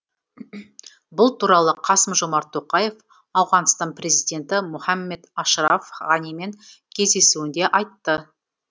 бұл туралы қасым жомарт тоқаев ауғанстан президенті мұхаммед ашраф ғанимен кездесуінде айтты